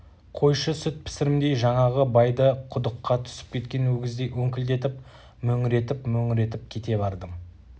қойшы сүт пісірімдей жаңағы байды құдыққа түсіп кеткен өгіздей өңкілдетіп мөңіретіп-мөңіретіп кете бардым